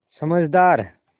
समझदार